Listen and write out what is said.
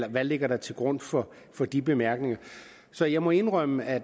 er der ligger til grund for for de bemærkninger så jeg må indrømme at